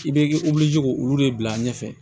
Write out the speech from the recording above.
I bɛ k'o olu de bila ɲɛfɛ